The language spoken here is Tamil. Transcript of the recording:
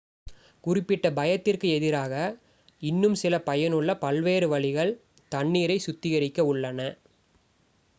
குறிப்பிட்ட பயத்திற்கு எதிராக இன்னும் சில பயனுள்ள பல்வேறு வழிகள் தண்ணீரை சுத்திகரிக்க உள்ளன